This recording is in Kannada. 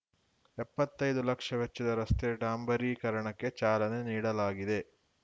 ಎಪ್ಪತ್ತೈದು ಲಕ್ಷ ವೆಚ್ಚದ ರಸ್ತೆ ಡಾಂಬರೀಕರಣಕ್ಕೆ ಚಾಲನೆ ನೀಡಲಾಗಿದೆ